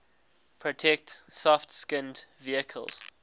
protect soft skinned vehicles